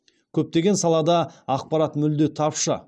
көптеген салада ақпарат мүлде тапшы